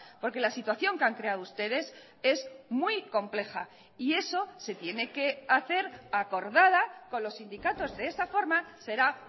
porque la situación que han creado ustedes es muy compleja y eso se tiene que hacer acordada con los sindicatos de esa forma será